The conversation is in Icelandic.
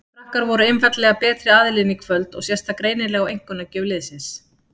Frakkar voru einfaldlega betri aðilinn í kvöld og sést það greinilega á einkunnagjöf leiksins.